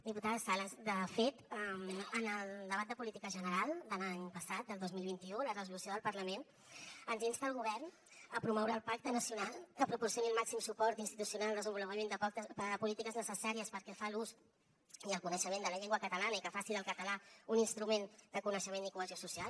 diputada sales de fet en el debat de política general de l’any passat del dos mil vint u la resolució del parlament ens insta al govern a promoure el pacte nacional que proporcioni el màxim suport institucional el desenvolupament de polítiques necessàries pel que fa a l’ús i el coneixement de la llengua catalana i que faci del català un instrument de coneixement i cohesió social